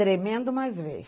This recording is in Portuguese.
Tremendo, mas veio.